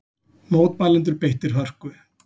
Mótmælendur beittir hörku